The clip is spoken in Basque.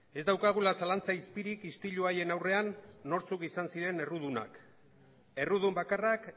ez daukagula zalantza izpirik istilu haien aurrean nortzuk izan ziren errudunak errudun bakarrak